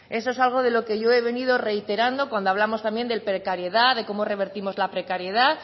eso es algo de lo que yo he venido reiterando cuando hablamos también de precariedad de cómo revertimos la precariedad